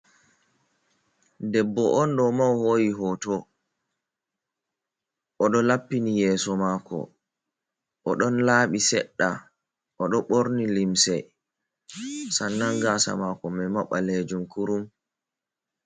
Debbo on ɗo ma o hoi hoto oɗo laɓɓini yeso mako, o ɗon laaɓi seɗɗa o ɗo borni limse, San nan gasa mako mai ma ɓalejum kurum.